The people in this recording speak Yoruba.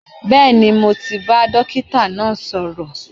Bẹẹni, mo ti bá dókítà náà sọ̀rọ̀